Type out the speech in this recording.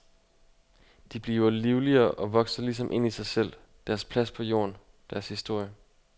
De bliver livligere og vokser ligesom ind i sig selv, deres plads på jorden, deres historie.